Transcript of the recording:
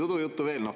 Udujuttu veel.